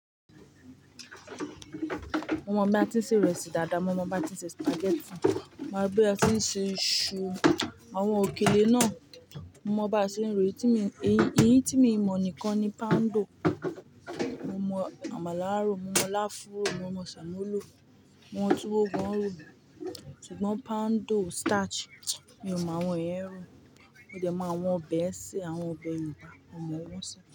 Mo mọ̀ bí a ti ń se ìrẹsì dáadáa, mo mọ bí a ti ń se spaghetti, mo mọ bí a ti ń se iṣu, àwọn òkèlè náà mo mọ bá a ṣe ń ro èyí tí mi èyí tí miì mọ̀ nìkan ni poundo. Mo mọ àmàlà á rò, mo mọ lááfún rò, mo mọ sẹ̀mó rò, mo mọ túwó gan ń rò, ṣùgbọ́n poundo, starch mi ò mọ àwọn yẹn rò. Mo dẹ̀ mọ àwọn ọbẹ̀ ẹ sè, àwọn ọbẹ̀ Yorùbá mo mọ̀ wọ́n sè.